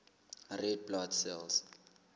red blood cells